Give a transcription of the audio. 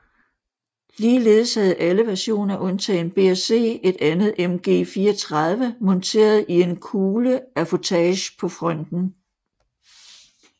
Ligeledes havde alle versioner undtagen B og C et andet MG 34 monteret i en kugleaffutage på fronten